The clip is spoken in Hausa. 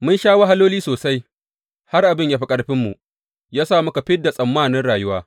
Mun sha wahaloli sosai, har abin ya fi ƙarfinmu, ya sa muka fid da tsammanin rayuwa.